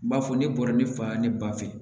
N b'a fɔ ne bɔra ne fa ye ne ba fɛ